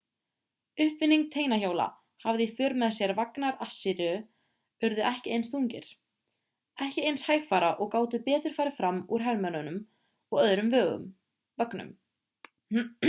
uppfinning teinahjóla hafði í för með sér að vagnar assýríu urðu ekki eins þungir ekki eins hægfara og gátu betur farið fram úr hermönnum og öðrum vögnum